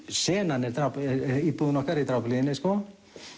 senan er íbúðin okkar í Drápuhlíðinni sko